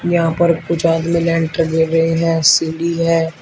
यहां पर कुछ आदमी लेंटर दे रहे हैं सीढ़ी है।